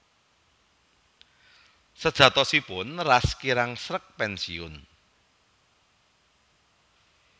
Sajatosipun Ras kirang sreg pénsiun